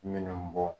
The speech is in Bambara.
Minnu bɔ